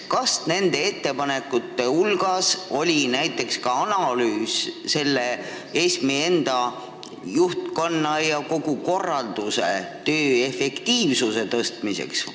Kas nende ettepanekute raames esitati ka analüüs ESM-i juhtkonna ja kogu korraldustöö efektiivsuse parandamiseks?